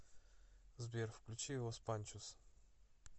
сбер включи лос панчос